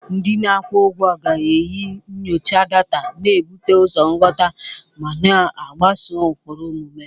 Ndị na-akwụ ụgwọ ga-eji nyocha data, na-ebute ụzọ nghọta, ma na-agbaso ụkpụrụ omume.